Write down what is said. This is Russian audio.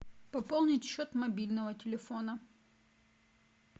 пополнить счет мобильного телефона